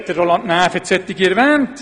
Roland Näf hat solche Fragen erwähnt: